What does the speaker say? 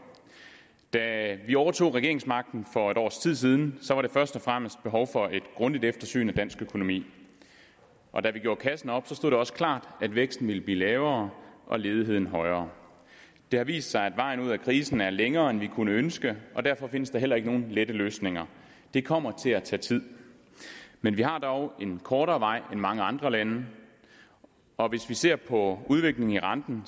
da vi overtog regeringsmagten for et års tid siden var der først og fremmest behov for et grundigt eftersyn af dansk økonomi og da vi gjorde kassen op stod det også klart at væksten ville blive lavere og ledigheden højere det har vist sig at vejen ud af krisen er længere end vi kunne ønske og derfor findes der heller ikke nogen lette løsninger det kommer til at tage tid men vi har dog en kortere vej end mange andre lande og hvis vi ser på udviklingen i renten